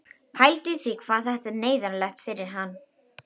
Pældu í því hvað þetta er neyðarlegt fyrir hann!